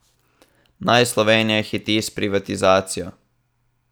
Naj Slovenija hiti s privatizacijo?